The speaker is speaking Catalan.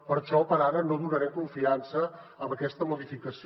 per això per ara no donarem confiança a aquesta modificació